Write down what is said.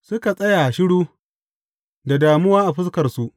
Suka tsaya shiru, da damuwa a fuskarsu.